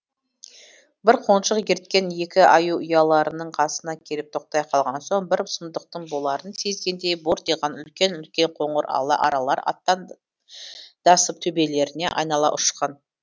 бір қонжық ерткен екі аю ұяларының қасына келіп тоқтай қалған соң бір сұмдықтың боларын сезгендей бортиған үлкен үлкен қоңыр ала аралар аттандасып төбелерінен айнала ұшқан